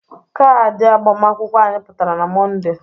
Kadị agbamakwụkwọ anyị pụtara na Mọnde.